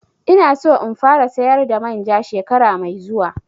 Ina so in fara sayar da manja shekara mai zuwa